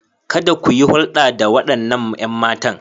Kada ku yi hulɗa da waɗannan 'yan matan.